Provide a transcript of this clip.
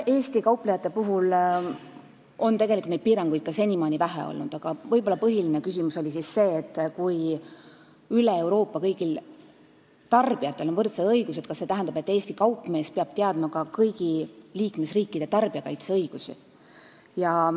Eesti kauplejatel on tegelikult neid piiranguid ka senimaani vähe olnud, aga põhiline küsimus oli võib-olla see, et kui üle Euroopa kõigil tarbijatel on võrdsed õigused, kas see tähendab, et Eesti kaupmees peab teadma ka kõigi liikmesriikide tarbijakaitseõigusi.